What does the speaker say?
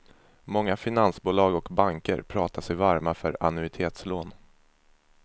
Många finansbolag och banker pratar sig varma för annuitetslån.